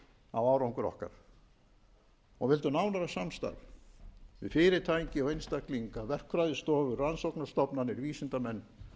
á árangur okkar og vildu nánara samstarf við fyrirtæki og einstaklinga verkfræðistofur rannsóknarstofnanir vísindamenn